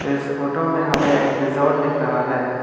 इस फोटो में हमें एक रिसॉर्ट दिख रहा है।